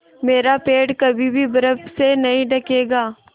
मेरा पेड़ कभी भी बर्फ़ से नहीं ढकेगा